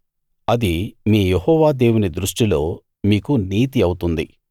అది మీ యెహోవా దేవుని దృష్టిలో మీకు నీతి అవుతుంది